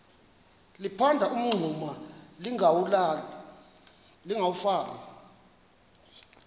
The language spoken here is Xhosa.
liphanda umngxuma lingawulali